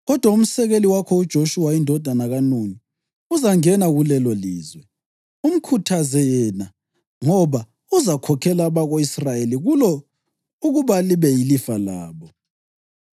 Kodwa umsekeli wakho, uJoshuwa indodana kaNuni, uzangena kulelolizwe. Umkhuthaze yena, ngoba uzakhokhela abako-Israyeli kulo ukuba libe yilifa labo.